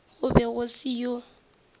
go be go se yo